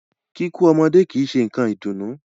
Kíkú lọ́mọdé kìí ṣe nǹkan ìdùnnú.